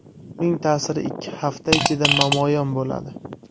Uning ta’siri ikki hafta ichida namoyon bo‘ladi.